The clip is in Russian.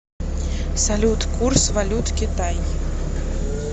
салют курс валют китай